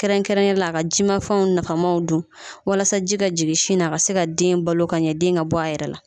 Kɛrɛnkɛrɛnnen la a ka jimafɛnw nafamaw dun walasa ji ka jigin sin na a ka se ka den balo ka ɲɛ den ka bɔ a yɛrɛ la